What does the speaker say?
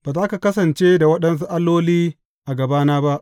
Ba za ka kasance da waɗansu alloli a gabana ba.